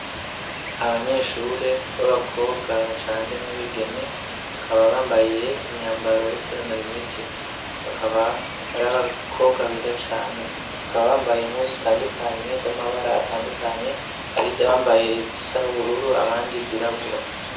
abanyeshuri b'abakobwa bacanze nabigeme bakaba bambaye imyambaro yo kwinonura imitsi bakaba ari abakobwa beza cane bakaba bambaye impuzu zitandukanye z'amabara atandukanye arizo bambaye zisa n'ubururu abandi zirabura